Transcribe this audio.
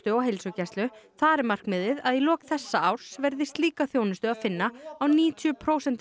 á heilsugæslu þar er markmiðið að í lok þessa árs verði slíka þjónustu að finna á níutíu prósentum